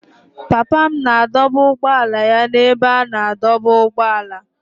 Papa m na-adọba ụgbọala ya n'ebe a na-adọba ụgbọala.